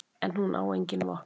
En hún á engin vopn.